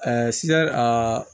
sisan a